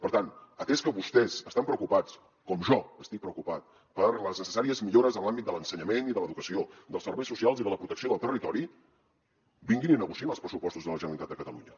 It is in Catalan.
per tant atès que vostès estan preocupats com jo estic preocupat per les necessàries millores en els àmbits de l’ensenyament i de l’educació dels serveis socials i de la protecció del territori vinguin i negociïn els pressupostos de la generalitat de catalunya